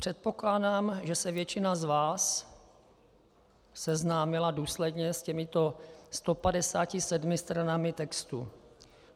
Předpokládám, že se většina z vás seznámila důsledně s těmito 157 stranami textu.